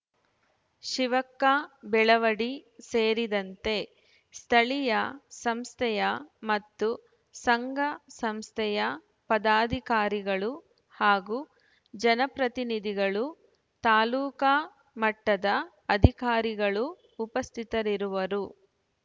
ಶಿವಕ್ಕಾ ಬೆಳವಡಿ ಸೇರಿದಂತೆ ಸ್ಥಳೀಯ ಸಂಸ್ಥೆಯ ಮತ್ತು ಸಂಘ ಸಂಸ್ಥೆಯ ಪದಾಧಿಕಾರಿಗಳು ಹಾಗೂ ಜನಪ್ರತಿನಿಧಿಗಳು ತಾಲೂಕಾ ಮಟ್ಟದ ಅಧಿಕಾರಿಗಳು ಉಪಸ್ಥಿತರಿರುವರು